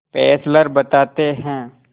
Fessler बताते हैं